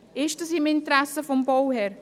Ist es im Interesse des Bauherrn?